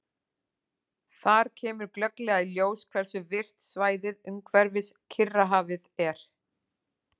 Þar kemur glögglega í ljós hversu virkt svæðið umhverfis Kyrrahafið er.